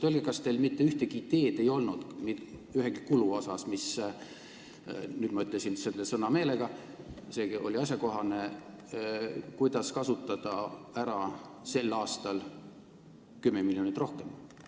Öelge, kas teil ei olnud mitte ühtegi ideed ühegi kulu osas – nüüd ma ütlesin selle sõna meelega, see oli asjakohane –, kuidas kasutada ära sel aastal 10 miljonit rohkem?